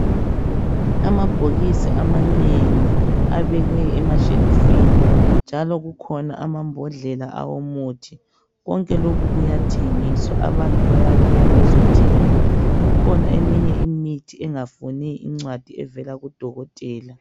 Amabhokisi amanengi abekwe emashelufini njalo kukhona amambodlela owomuthi konke lokhu kuyathengiswa, abantu bayabuya bezothenga kukhona eminye imithi engafuni incwadi evela kudokotela.